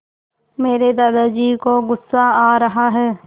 मेरे दादाजी को गुस्सा आ रहा है